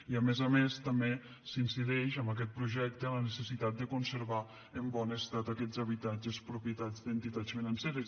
i a més a més també s’incideix amb aquest projecte en la necessitat de conservar en bon estat aquests habitatges propietat d’entitats financeres